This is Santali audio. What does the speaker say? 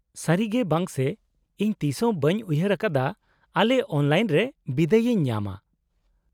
-ᱥᱟᱹᱨᱤᱜᱮ ᱵᱟᱝᱥᱮ, ᱤᱧ ᱛᱤᱥᱦᱚᱸ ᱵᱟᱹᱧ ᱩᱭᱦᱟᱹᱨ ᱟᱠᱟᱫᱟ ᱟᱞᱮ ᱚᱱᱞᱟᱭᱤᱱ ᱨᱮ ᱵᱤᱫᱟᱹᱭ ᱤᱧ ᱧᱟᱢᱟ ᱾